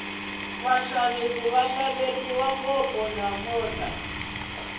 vaxavisi va xaveriwile namuntlha